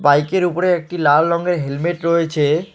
বাইকের উপরে একটি লাল রঙের হেলমেট রয়েছে।